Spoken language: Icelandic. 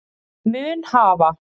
mun hafa